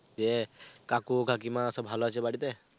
দিয়ে কাকু কাকিমা সব ভালো আছে বাড়িতে?